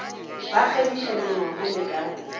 ba kgabiša mengwako le ka